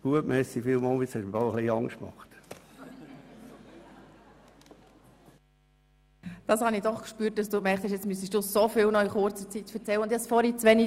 Ich habe bemerkt, dass Sie Angst hatten, nun noch so viel in sehr kurzer Zeit erzählen zu müssen.